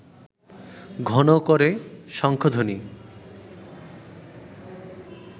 ঘন করে শঙ্খধ্বনি